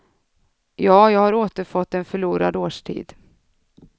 Ja, jag har återfått en förlorad årstid.